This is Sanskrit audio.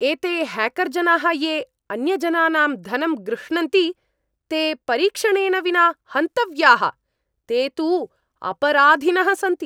एते ह्याकर् जनाः ये अन्यजनानां धनं गृह्णन्ति, ते परीक्षणेन विना हन्तव्याः, ते तु अपराधिनः सन्ति।